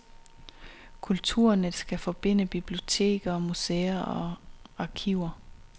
Kulturnet skal forbinde biblioteker, museer og arkiver.